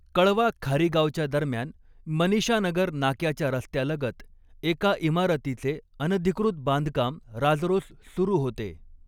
कळवा खारीगावच्या दरम्यान मनीषानगर नाक्याच्या रस्त्यालगत एका इमारतीचे अनधिकृत बांधकाम राजरोस सुरू होते.